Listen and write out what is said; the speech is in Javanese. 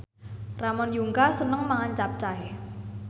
Ramon Yungka seneng mangan capcay